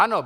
Ano.